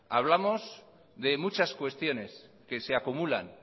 hablamos de muchas cuestiones que se acumulan